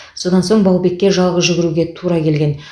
содан соң баубекке жалғыз жүгіруге тура келген